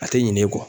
A tɛ ɲinɛ e kɔ